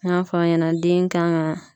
N y'a fɔ aw ɲɛna den kan ka